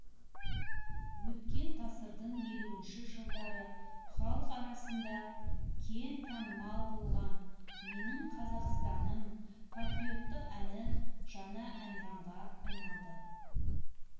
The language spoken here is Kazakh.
өткен ғасырдың елуінші жылдары халық арасында кең танымал болған менің қазақстаным патриоттық әні жаңа әнұранға айналды